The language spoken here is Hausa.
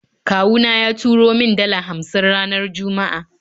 Kawuna ya turo min dala hamsin ranar Juma'a